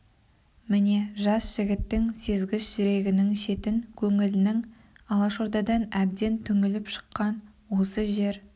міне жас жігіттің сезгіш жүрегінің шетін көңілінің алашордадан әбден түңіліп шыққаны осы жер